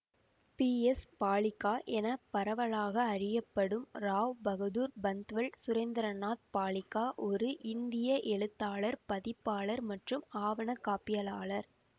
B S Baliga என பரவலாக அறியப்படும் ராவ் பகதூர் பந்த்வல் சுரேந்திரநாத் பாலிகா ஒரு இந்திய எழுத்தாளர் பதிப்பாளர் மற்றும் ஆவண காப்பியலாளர்